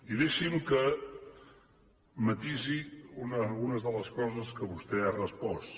i deixi’m que matisi una de les coses que vostè ha respost